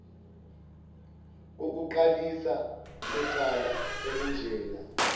kokuqalisa kwecala elinjena